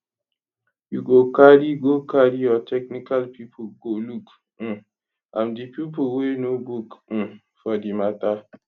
you go carry go carry your technical pipo go look um am di pipo wey know book um for di mata